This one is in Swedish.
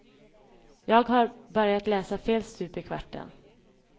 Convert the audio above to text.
Jag har börjat läsa fel stup i kvarten.